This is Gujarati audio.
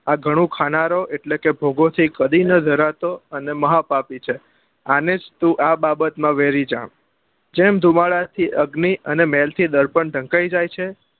આ ગણું ખાનારો એટલે કે ભૌગો થી કડી નાં ધરાતો અને મહાપાપી છે આને તું વેરી જા જેમ ધુમાડા થી અગ્નિ અને મહેલ થી દર્પણ ઢંકાઈ જાય છે